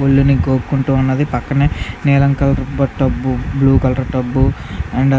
ముల్లును గోకుంటు ఉన్నది.పక్కనే నీలం colour tub blue colour tub and